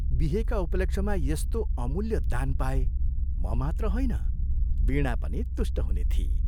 बिहेका उपलक्ष्यमा यस्तो अमूल्य दान पाए, म मात्र होइन, वीणा पनि तुष्ट हुने थिई।